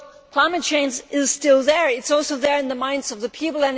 Climate change is still there and is also there in the minds of the people.